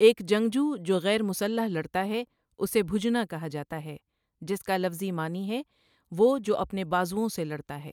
ایک جنگجو جو غیر مسلح لڑتا ہے اسے بھجنہ کہا جاتا ہے، جس کا لفظی معنی ہے وہ جو اپنے بازؤوں سے لڑتا ہے۔